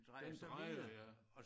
Den drejer ja